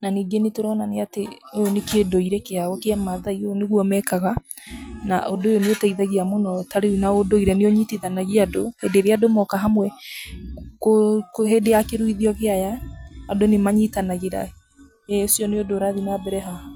na na ningĩ nĩ tũrona ũyũ nĩ ũndũire wa kĩmathai, ũguo nĩguo mekaga, ũndũ nĩ ũteithagia mũno ta rĩu ũndũire nĩ ũnyitithanigia andũ hĩndĩ ĩrĩa andũ moka hamwe, hĩndĩ ya kũruithio kĩa aya andũ nĩ manyitanagĩea, ĩĩ ũcio nĩ ũndũ ũrathiĩ na mbere haha.